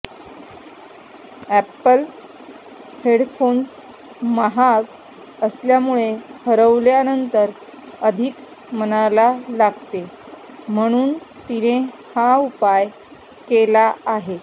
apple headphones महाग असल्यामुळे हरवल्यानंतर अधिक मनाला लागते म्हणून तिने हा उपाय केला आहे